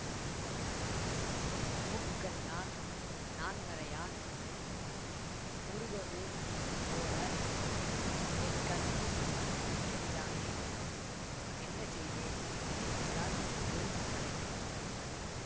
முக்கண்ணான் நான்மறையான் முருகவேள் போல என் கண்முன் நிற்கின்றானே என்னசெய்வேன் என்கிறாள் ஒரு தலைவி